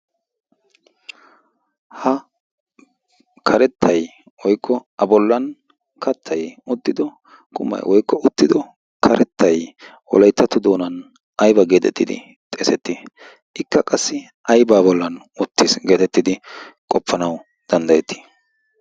ha karettai woikko a bollan kattai uttido qumai woikko uttido karettai wolaittatto doonan aiba geetettidi xeesettii? ikka qassi aibaa bollan uttiis geetettidi qoppanawu danddayettii?